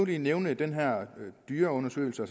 lige nævne den her dyreundersøgelse